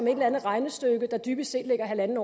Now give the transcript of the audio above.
eller andet regnestykke der dybest set ligger en